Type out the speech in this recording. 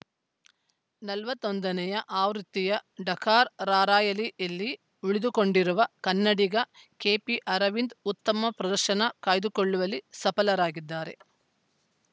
ನಲವತ್ತ್ ಒಂದನೇ ಆವೃತ್ತಿಯ ಡಕಾರ್‌ ರಾರ‍ಯಲಿಯಲ್ಲಿ ಯಲ್ಲಿ ಉಳಿದುಕೊಂಡಿರುವ ಕನ್ನಡಿಗ ಕೆಪಿ ಅರವಿಂದ್‌ ಉತ್ತಮ ಪ್ರದರ್ಶನ ಕಾಯ್ದುಕೊಳ್ಳುವಲ್ಲಿ ಸಫಲರಾಗಿದ್ದಾರೆ